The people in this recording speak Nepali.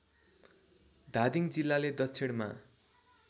धादिङ जिल्लाले दक्षिणमा